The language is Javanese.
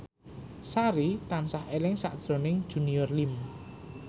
Sari tansah eling sakjroning Junior Liem